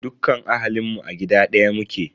Dukkan ahalinmu a gida ɗaya muke.